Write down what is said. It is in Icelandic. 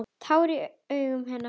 Tár í augum hennar.